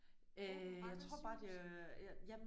Åbent Randers sygehus?